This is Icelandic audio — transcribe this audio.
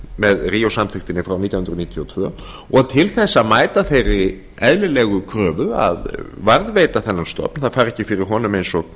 með ríó samþykktinni frá nítján hundruð níutíu og tvö og til að eða þeirri eðlilegu kröfu að varðveita þennan stofn það fari ekki fyrir honum eins og